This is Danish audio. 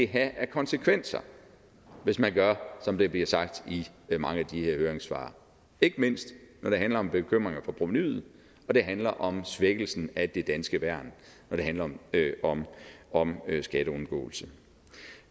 have af konsekvenser hvis man gør som der bliver sagt i mange af de her høringssvar ikke mindst når det handler om bekymringer for provenuet og det handler om svækkelsen af det danske værn når det handler om om skatteundgåelse